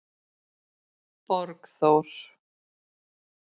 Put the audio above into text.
Borgþór